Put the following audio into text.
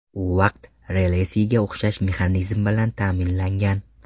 U vaqt relesiga o‘xshash mexanizm bilan ta’minlangan.